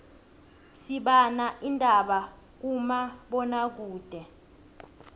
sibana indaba kuma bona kude